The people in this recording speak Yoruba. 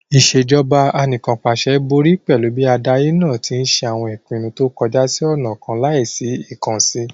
Ìṣèjọba Anìkànpàṣẹ borí pẹ̀lú bí adarí náà tí ń ṣe àwọn ìpinnu tó kọjú sí ọ̀nà kan láì sí ìkànsì